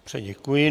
Dobře, děkuji.